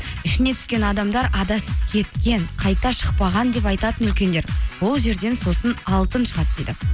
ішіне түскен адамдар адасып кеткен қайта шықпаған деп айтатын үлкендер ол жерден сосын алтын шығады дейді